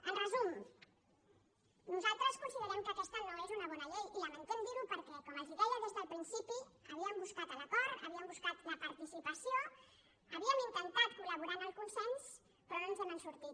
en resum nosaltres considerem que aquesta no és una bona llei i lamentem dir·ho perquè com els deia des del principi havíem buscat l’acord havíem buscat la participació havíem intentat col·laborar en el con·sens però no ens n’hem sortit